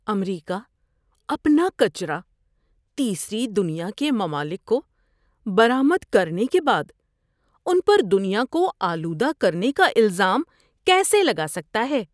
امریکہ اپنا کچرا تیسری دنیا کے ممالک کو برآمد کرنے کے بعد ان پر دنیا کو آلودہ کرنے کا الزام کیسے لگا سکتا ہے؟